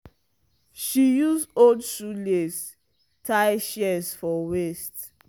she use old shoe lace tie shears for waist.